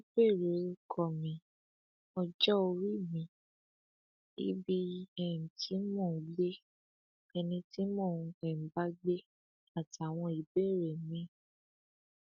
agbègbè ìlúpejú bye pass ní ìlúpẹjù nítòsí musin níjàmbá ọhún ti wáyé láàárọ ọjọ́rú ọsẹ yìí